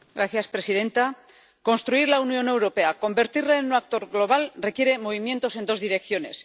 Señora presidenta, construir la Unión Europea, convertirla en un actor global, requiere movimientos en dos direcciones.